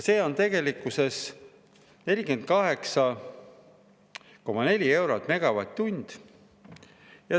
See on 48,4 eurot megavatt-tund.